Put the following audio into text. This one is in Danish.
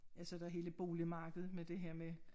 Ja så der hele boligmarkedet med det her med